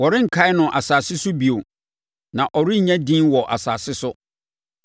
Wɔrenkae no asase so bio; na ɔrennya edin wɔ asase so.